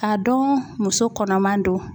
K'a dɔn muso kɔnɔman don